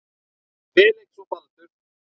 Felix og Baldur.